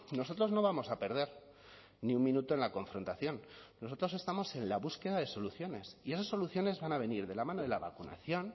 nosotros no vamos a perder ni un minuto en la confrontación nosotros estamos en la búsqueda de soluciones y esas soluciones van a venir de la mano de la vacunación